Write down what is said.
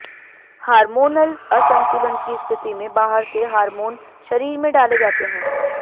hormonal असंतुलन की स्थिति में बाहर से हार्मोन शरीर में डाले जाते हैं